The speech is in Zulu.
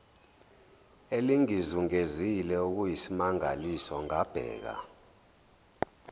elingizungezile okuyisimangaliso ngabheka